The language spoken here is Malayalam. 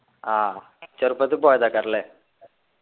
ആഹ് ചെറുപ്പത്ത് പോയതാകാർ ല്ലെ